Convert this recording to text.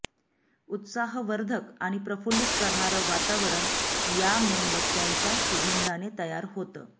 उत्साहवर्धक आणि प्रफुल्लित करणारं वातावरण या मेणबत्त्यांच्या सुगंधाने तयार होतं